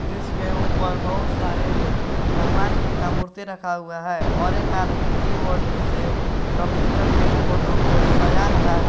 इसके ऊपर बहुत सारे भगवान जी का मूर्ति रखा हुआ है और एक आदमी कीबोर्ड से कंप्यूटर के फोटो को सजा रहा है।